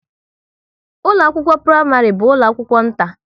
ụlọ akwụkwọ praịmarị bu ụlọ akwụkwọ nta